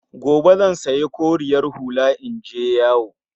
Gobe zan sanya koriyar hula in je yawo